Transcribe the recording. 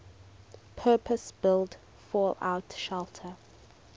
purpose built fallout shelter